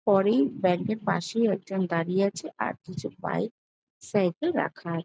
পরেই ব্যাঙ্ক -এর পাশেই একজন দাঁড়িয়ে আছে আর কিছু বাইক সাইকেল রাখা আ--